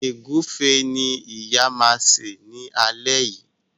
Egufe ní ìyá ma ṣe ní alé yí.